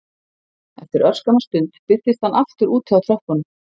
Eftir örskamma stund birtist hann aftur úti á tröppunum